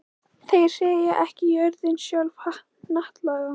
Þeir segja: Er ekki jörðin sjálf hnattlaga?